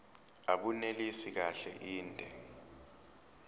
abunelisi kahle inde